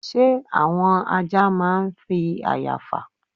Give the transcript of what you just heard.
Ṣé àwọn ajá máa ń fi àya fà?